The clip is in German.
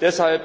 Deshalb